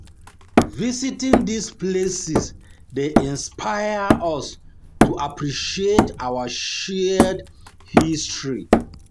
Visiting these places dey inspire inspire us to appreciate our shared history.